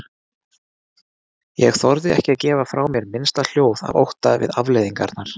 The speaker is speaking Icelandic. Ég þorði ekki að gefa frá mér minnsta hljóð af ótta við afleiðingarnar.